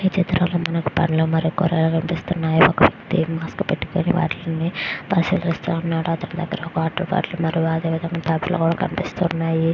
ఈ ఫోటో లో మనకి పండు మరియు కురగాయల్లు కనిపిస్తూ వున్నాయ్. వాటిని పరికిస్తూ వున్నారు. --